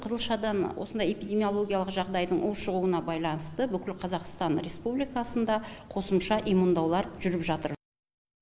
қызылшадан осындай эпидемологиялық жағдайдың ушығуына байланысты бүкіл қазақстан республикасында қосымша иммундаулар жүріп жатыр